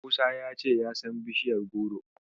Musa ya ce ya san bishaiyar goro.